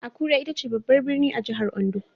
Akure ita ce babbar birni a jihar Ondo.